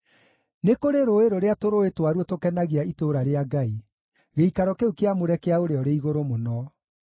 Nĩ kũrĩ rũũĩ rũrĩa tũrũũĩ twaruo tũkenagia itũũra rĩa Ngai, gĩikaro kĩu kĩamũre kĩa Ũrĩa-ũrĩ-Igũrũ-Mũno.